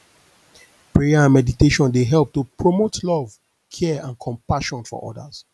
prayer and meditation dey help to promote love care and compassion for odas